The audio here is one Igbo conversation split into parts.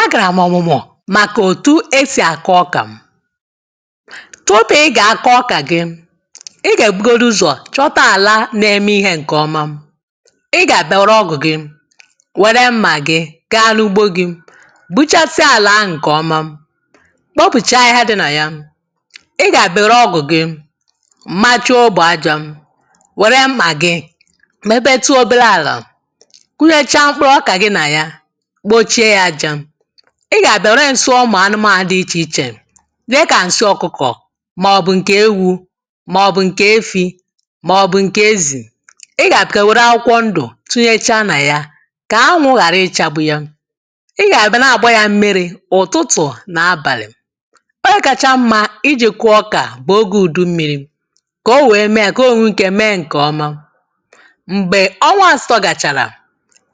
A gara m ọmụmụ maka etu e si akọ́ ọ́kà. Tupu ị ga-akọ ọkà gị, ị gga-ebugodị ụzọ chọta ala na-eme ihe nke ọma. Ị ga-abịa were ọ́gụ̀ gị were mma gị gaa n'ugbo gị gbuchasịa ala ahụ nke ọma, kpopụchaa ahịhịa dị na ya. Ị ga-abịa were ọ́gụ̀ gị machaa óbò ájá were mmà gị tupetụ obere ala, kụnyechaa mkpụrụ ọka gị na ya, kpochie ya aja. Ị ga-abịa were nsị́ ụmụ anụmanụ dị iche iche dịka nsị ọkụkọ maọbụ nke ewu maọbụ nke efi maọbụ nke ezi. Ị ga-abịa were akwụkwọ ndụ tụnyechaa na ya ka anwụ ghara ịchagbu ya. Ị ya abịa na-agba ya mmiri ụtụtụ na abalị. Oge kacha mma iji kụọ ọka bụ oge udu mmiri kano wee mee ya ka o wee nwee ike mee nke ọma. Mgbe ọnwa asatọ gachara,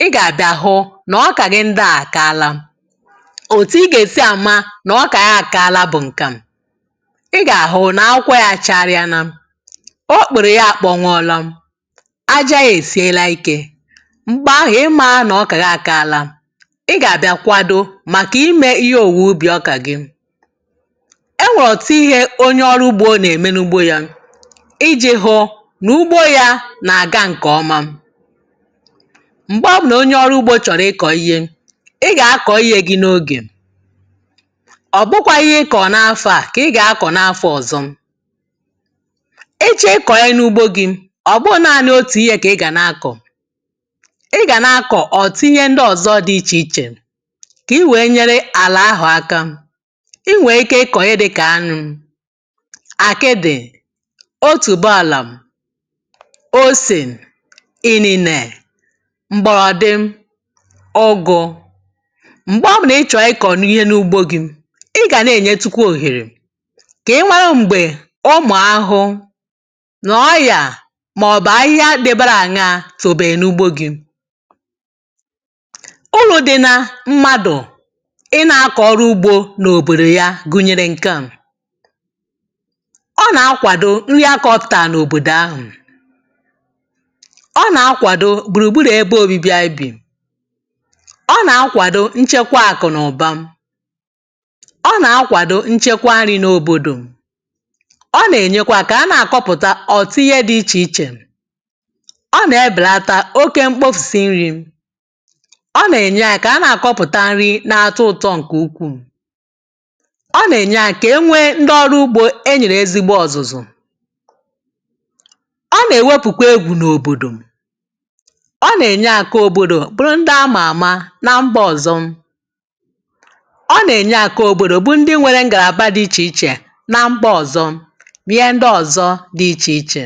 ị ga-abịa hụ na ọka gị ndị a akaala. Otu ị ga-esi ama na ọka ị akaala bụ nke a: ị ga-ahụ na akwụkwọ ya achagharịala, okpere ya akpọnwụọla, ájá ya e siela ike. Mgbe ahụ ị marana na ọka gị akaala. Ị ga-abịa kwado maka ime ihe owuwe ubi ọka gị. E nwere ọtụtụ ihe onye ọrụ ugbo na-eme n'ugbo ya iji hụ na ugbo ya na-aga nke ọma. Mgbe ọbụla onye ọrụ ugbo chọrọ ịkọ ihe, ị ga-akọ ihe gị m'oge. Ọ bụkwaghị ihe ị kọrọ n'afọ a ka ị ga-akọ n'afọ ọzọ. Ị chọọ ịkọ ihe n'ugbo gị, ọbụghị naanị otu ihe ka ị ga na-akọ. Ị ga na-akọ ọtụtụ ihe ndị ọzọ dị iche iche ka i wee nyere ala ahụ aka. I nwee ike ịkọ ihe dị ka ányụ́, akị́dị, otubụọlam, osin, inine, mgbọrọdị, ụ́gụ. Mgbe ọbụla ị chọrọ ịkọ ihe n'ugbo gị, ị ga na-enyetụkwa ohere ka ị marụ mgbe ụmụ ahụhụ na ọ́yà maọbụ ahịhịa dịbara aṅaa tobere n'ugbo gị. Uru dị na mmadụ ị na-akọ ọrụ ugbo n'obodo ya gụnyere nke a: Ọ na-akwado ihe a kpọpụtaa n'obodo ahụ, Ọ na-akwado gburugburu ebe obibi anyị bi, Ọ na-akwado nchekwa akụnụba, ọ na-akwado nchekwa nri n'obodo, ọ na-emekwa ka a na a kọpụta ọtụtụ ihe dị iche iche, ọ na-ebelata óké mkpofusị nri, ọ na-enye aka ka a na-akọpụta nri na-atọ ụtọ nke ukwuu, Ọ na-enye aka ka e nwee ndị ọrụ ugbo e nyere ezigbo ọzụzụ, ọ na-eweoụkwa égwù n'obodo, ọ na-enye aka ka obodo bụrụ ndị a ma ama na mba ọzọ, ọ na-enye aka ka obodo bụrụ ndị nwere ngalaba dị iche iche na mba ọzọ na ihe ndị ọzọ dị iche iche.